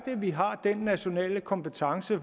vi har den nationale kompetence